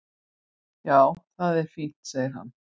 """Já, það er fínt, segir hann."""